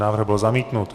Návrh byl zamítnut.